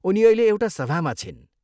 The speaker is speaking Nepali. उनी अहिले एउटा सभामा छिन्।